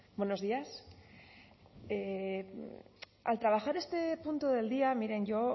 buenos días al trabajar este punto del día miren yo